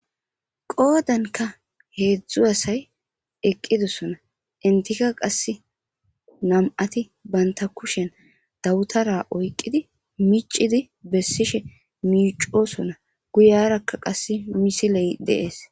Qodanikka hezhzhu asayi eqidosonna enittikka qasi nam''ati banita kushshenni dabitara oyiqqiddi miccidi beseshshi micosonna guyarakka qasee missileyi de'ees.